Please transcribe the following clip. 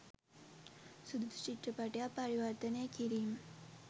සුදුසු චිත්‍රපටයක් පරිවර්තනය කිරීම